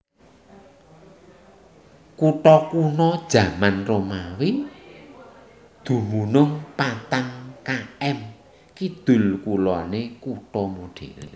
Kutha kuna jaman Romawi dumunung patang km kidul kuloné kutha modern